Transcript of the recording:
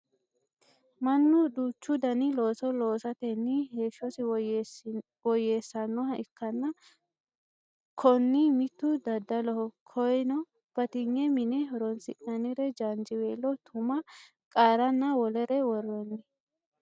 mannu duuchu dani looso loosatenni heeshshosi woyyeessannoha ikkanna konni mittu daddaloho koyeeno batinye mine horonsi'nannire jaanjiweelo tuma qaaranna wolere worroonni